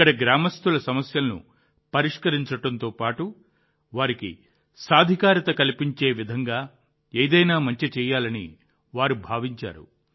ఇక్కడి గ్రామస్తుల సమస్యలను పరిష్కరించడంతోపాటు వారికి సాధికారత కల్పించే విధంగా ఏదైనా మంచి చేయాలని వారు భావించారు